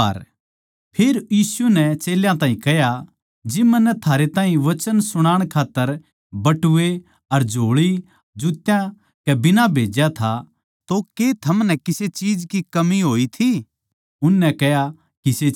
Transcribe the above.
फेर यीशु नै चेल्यां ताहीं कह्या जिब मन्नै थारै ताहीं वचन सुणण खात्तर बटुए अर झोळी अर जूत्या कै बिना भेज्या था तो के थमनै किसे चीज की कमी होई थी उननै कह्या किसे चीज की न्ही